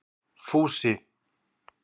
Fúsi